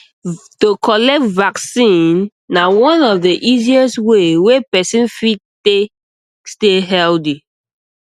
to collect vaccine na one of the easiest way wey person fit take stay healthy